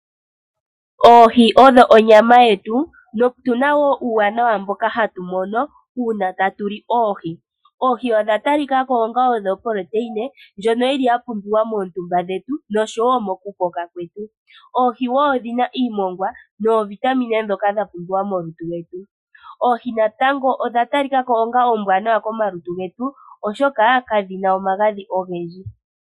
Oohi odho onyama yetu notuna wo uuwanawa mboka hatumono uuna tatuli oohi. Oohi odha tali kako onga odho oproteine djono yili yapumbiwa moontumba dhetu nosho wo mokukoka kwetu. Oohi wo odhina iimongwa noovitamine dhoka dhapumbiwa molutu lwetu, oohi natango odhatalikako onga oombwanawa komalutu getu oshoka kadhina omagadhi ogedji.